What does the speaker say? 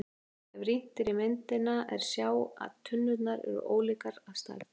Ef rýnt er í myndina er má sjá að tunnurnar eru ólíkar að stærð.